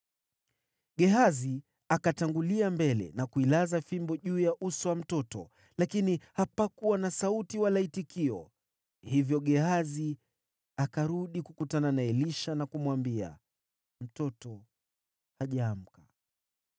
Gehazi akatangulia mbele na kuilaza fimbo juu ya uso wa mtoto, lakini hapakuwa na sauti wala itikio. Hivyo Gehazi akarudi kukutana na Elisha, na kumwambia, “Mtoto hajaamka.”